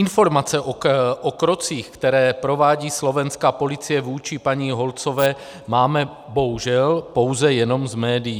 Informace o krocích, které provádí slovenská policie vůči paní Holcové, máme bohužel pouze jenom z médií.